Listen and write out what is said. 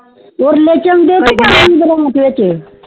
ਉਰਲੇ ਚੋਂਦੇ ਵਿਚ